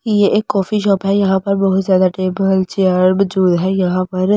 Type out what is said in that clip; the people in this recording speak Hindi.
यह एक कॉफी शॉप है यहां पर बहुत ज्यादा टेबल चेयर मौजूद है यहां पर ।